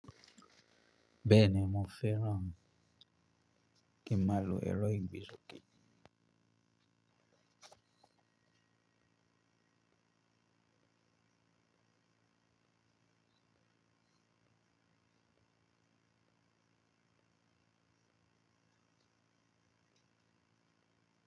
Bẹ́ẹ̀ni mo feran k'emi maa lo ero igbesoke.